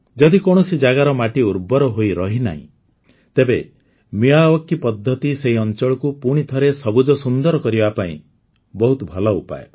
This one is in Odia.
ଯଦି କୌଣସି ଜାଗାର ମାଟି ଉର୍ବର ହୋଇରହିନାହିଁ ତେବେ ମିୟାୱାକି ପଦ୍ଧତି ସେହି ଅଞ୍ଚଳକୁ ପୁଣିଥରେ ସବୁଜ ସୁନ୍ଦର କରିବା ପାଇଁ ବହୁତ ଭଲ ଉପାୟ